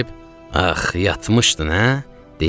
ax, yatmışdın, hə?